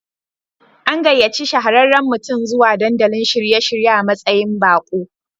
An gayaci shahararran mutum zuwa dandalin shiye-shirye a matsayin bako.